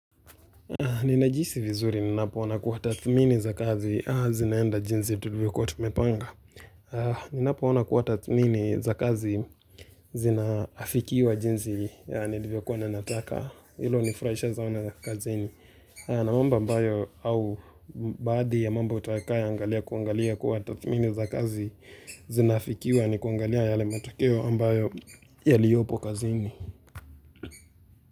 Ninajihisi vizuri ninapoona kuwa tathmini za kazi zinaenda jinsi tulivyokuwa tumepanga Ninapoona kuwa tathmini za kazi zinaafikiwa jinsi ya nilivyo kuwa na nataka hilo hunifurahisha zao na kazini na mambo ambayo au baadhi ya mambo utakayo angalia kuangalia kuwa tathmini za kazi zinaafikiwa ni kuangalia yale matokeo ambayo yaliyopo kazini.